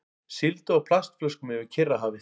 Sigldu á plastflöskum yfir Kyrrahafið